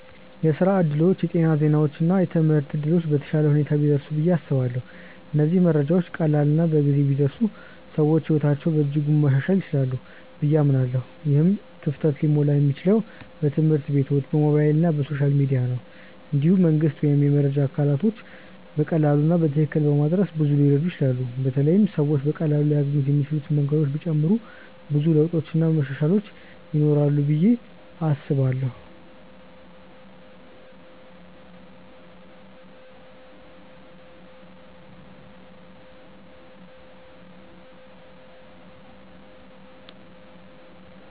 የስራ እድሎች፣ የጤና ዜናዎች እና የትምህርት እድሎች በተሻለ ሁኔታ ቢደርሱ ብዬ አስባለሁ። እነዚህ መረጃዎች ቀላል እና በጊዜ ቢደርሱ ሰዎች ሕይወታቸውን በእጅጉ ማሻሻል ይችላሉ ብዬ አምናለሁ። ይህ ክፍተት ሊሞላ የሚችለው በትምህርት ቤቶች፣ በሞባይል እና በሶሻል ሚዲያ ነው። እንዲሁም መንግስት ወይም የመረጃ አካላቶች መረጃን በቀላሉ እና በትክክል በማድረስ ብዙ ሊረዱ ይችላሉ በተለይ ሰዎች በቀላሉ ሊያገኙት የሚችሉ መንገዶች ቢጨመሩ ብዙ ለውጥ እና መሻሻል ይኖራል ብዬ አስባለው።